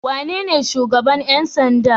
Wanene shugaban ƴan sanda?